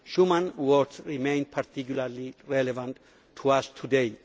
Schuman's words remain particularly relevant to us today.